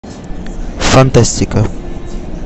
фантастика